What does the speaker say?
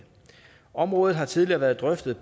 området har tidligere været drøftet